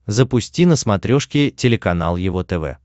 запусти на смотрешке телеканал его тв